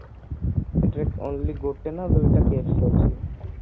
ସେଠି only ଗୋଟେ ନା ଦୁଇଟା KFC ଅଛି